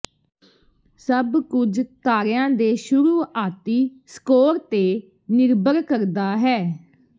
ਸਭ ਕੁਝ ਤਾਰਿਆਂ ਦੇ ਸ਼ੁਰੂਆਤੀ ਸਕੋਰ ਤੇ ਨਿਰਭਰ ਕਰਦਾ ਹੈ